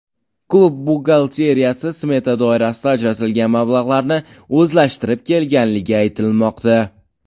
Klub buxgalteriyasi smeta doirasida ajratilgan mablag‘larni o‘zlashtirib kelganligi aytilmoqda.